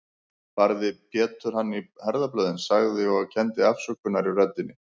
Barði Pétur hann í herðablöðin, sagði, og kenndi afsökunar í röddinni